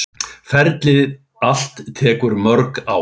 Ferlið allt tekur mörg ár.